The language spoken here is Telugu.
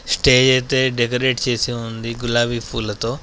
స్టేజ్ అయితే డెకరేట్ చేసి ఉంది గులాబీ పూలతో.